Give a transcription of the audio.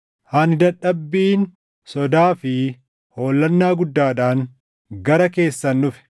Ani dadhabbiin, sodaa fi hollannaa guddaadhaan gara keessan dhufe.